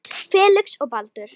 Felix og Baldur.